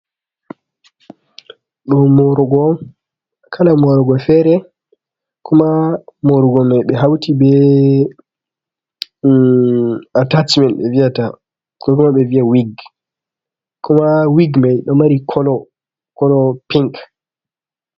Ɗo morogo on, kala morogo fere. kuma morugo mai be hauti be atcimen be viya ta, koma be viya wig, kuma wig mai ɗo mari kolo piink.